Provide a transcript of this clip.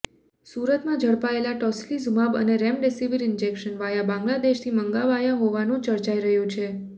સુરતમાં ઝડપાયેલા ટોસિલિઝુમાબ અને રેમ્ડેસિવિર ઇંજેક્શન વાયા બાંગ્લાદેશથી મંગાવાયા હોવાનું ચર્ચાઇ રહ્યું છે